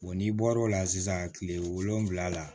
n'i bɔr'o la sisan kile wolonfila la